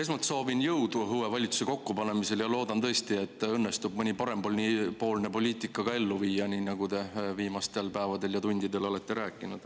Esmalt soovin jõudu uue valitsuse kokkupanemisel ja loodan tõesti, et teil õnnestub parempoolset poliitikat ellu viia, nii nagu te viimastel päevadel ja tundidel olete rääkinud.